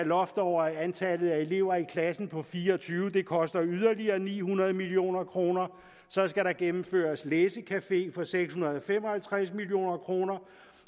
loft over antallet af elever i klassen på fire og tyve og det koster yderligere ni hundrede million kroner så skal der gennemføres læsecafé for seks hundrede og fem og halvtreds million kroner